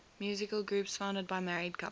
musical groups founded by married couples